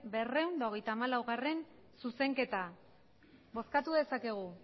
berrehun eta hogeita hamalaugarrena zuzenketa bozkatu dezakegu